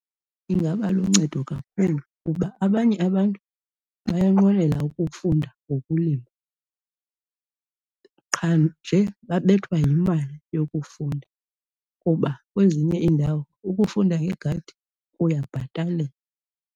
Ingaba luncedo kakhulu kuba abanye abantu bayanqwenela ukufunda ngokulima, qha nje babethwa yimali yokufunda kuba kwezinye iindawo ukufunda ngegadi kuyabhatalelwa.